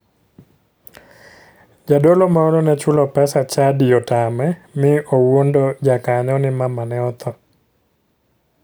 Jadolo moro ne chulo pesa chadi otame mi owuondo jakanyo ni mamane otho.